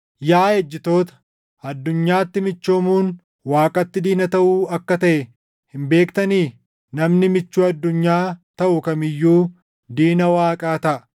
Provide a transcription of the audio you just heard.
Yaa ejjitoota, addunyaatti michoomuun Waaqatti diina taʼuu akka taʼe hin beektanii? Namni michuu addunyaa taʼu kam iyyuu diina Waaqaa taʼa.